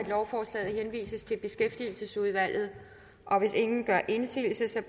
at lovforslaget henvises til beskæftigelsesudvalget hvis ingen gør indsigelse